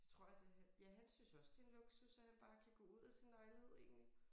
Jeg tror at det ja han synes også det en luksus at han bare kan gå ud af sin lejlighed egentlig